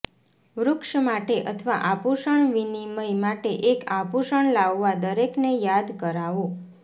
વૃક્ષ માટે અથવા આભૂષણ વિનિમય માટે એક આભૂષણ લાવવા દરેકને યાદ કરાવો